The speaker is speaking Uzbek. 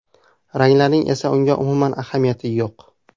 Ranglarning esa unga umuman ahamiyati yo‘q.